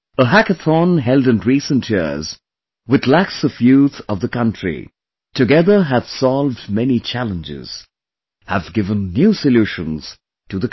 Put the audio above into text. A hackathon held in recent years, with lakhs of youth of the country, together have solved many challenges; have given new solutions to the country